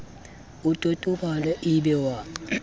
o totobale e be wa